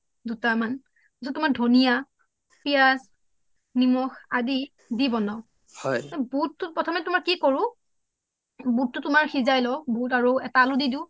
দুটামান ধনীয়া পিয়াজ নিমখ দি বনাওঁ হয় বোতটো প্ৰথমে তোমাৰ কি কৰোঁ এটা আলো দি দিও